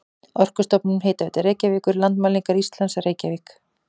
Orkustofnun, Hitaveita Reykjavíkur, Landmælingar Íslands, Reykjavík.